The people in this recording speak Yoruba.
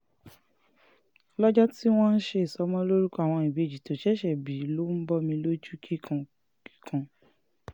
lọ́jọ́ um tí wọ́n ń ṣe ìsọmọlórúkọ àwọn ìbejì tó ṣẹ̀ṣẹ̀ bí ló ń bọmi lójú kíkan um kíkan